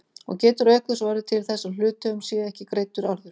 og getur auk þess orðið til þess að hluthöfum sé ekki greiddur arður.